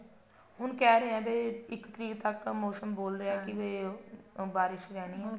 ਹੁਣ ਕਹਿ ਰਹੇ ਆ ਵੀ ਇੱਕ ਤਰੀਕ ਤੱਕ ਮੋਸਮ ਬੋਲ ਰਿਹਾ ਵੀ ਬਾਰਿਸ਼ ਰਹਿਣੀ ਆ